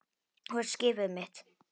Þú ert skipið mitt.